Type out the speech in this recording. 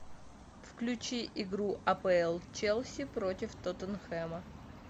включи игру апл челси против тоттенхэма